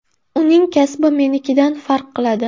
Uning kasbi menikidan farq qiladi.